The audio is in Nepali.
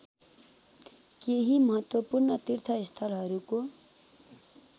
केही महत्त्वपूर्ण तीर्थस्थलहरूको